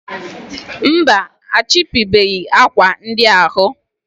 mba, achịpụbeghị akwa ndị ahụ.